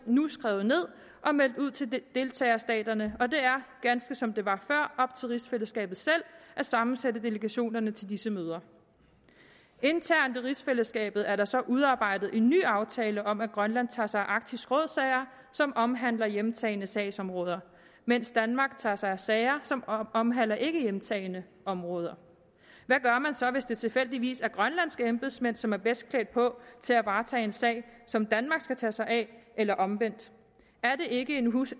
nu skrevet ned og meldt ud til deltagerstaterne og det er ganske som det var før op til rigsfællesskabet selv at sammensætte delegationerne til disse møder internt i rigsfællesskabet er der så udarbejdet en ny aftale om at grønland tager sig af arktisk råd sager som omhandler hjemtagne sagsområder mens danmark tager sig af sager som omhandler ikkehjemtagne områder hvad gør man så hvis det tilfældigvis er grønlandske embedsmænd som er bedst klædt på til at varetage en sag som danmark skal tage sig af eller omvendt er det ikke en